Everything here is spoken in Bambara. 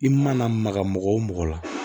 I mana maga mɔgɔ o mɔgɔ la